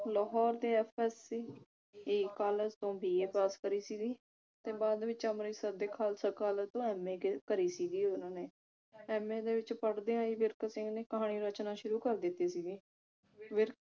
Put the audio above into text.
ਲਾਹੌਰ ਦੇ ਕਾਲਜ ਤੋਂ BA ਕਰੀ ਸੀਗੀ ਤੇ ਬਾਅਦ ਵਿਚ ਅਮ੍ਰਿਤਸਰ ਦੇ ਖਾਲਸਾ ਕਾਲਜ ਤੋਂ MA ਕਰ ਕਰਿ ਸੀਗੀ ਓਹਨਾ ਨੇ MA ਦੇ ਵਿਚ ਪੜ੍ਹਦਿਆਂ ਵਿਰਕ ਸਿੰਘ ਨੇ ਕਹਾਣੀ ਰਚਨਾ ਸ਼ੁਰੂ ਕਰ ਦਿੱਤੀ ਸੀਗੀ ਵਿਰਕ